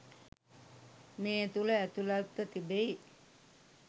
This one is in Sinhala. මේ තුළ ඇතුළත්ව තිබෙයි.